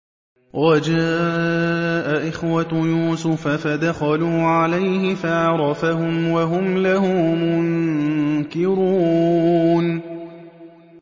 وَجَاءَ إِخْوَةُ يُوسُفَ فَدَخَلُوا عَلَيْهِ فَعَرَفَهُمْ وَهُمْ لَهُ مُنكِرُونَ